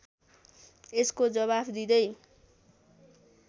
यसको जवाफ दिँदै